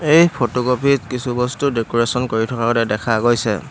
এই ফটোকপিত কিছু বস্তু ডেক'ৰেছন কৰি থকাও তাত দেখা গৈছে।